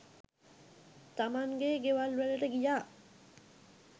තමන්ගෙ ගෙවල් වලට ගියා.